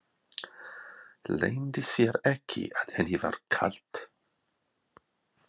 Leyndi sér ekki að henni var kalt.